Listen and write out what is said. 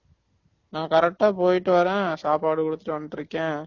நான் correct ஆ போய்ட்டு வறேன் சாப்பாடு குடுத்துட்டு வந்துட்டு இருக்கேன்